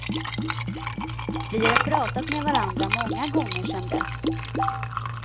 Vi har pratat med varandra många gånger sen dess.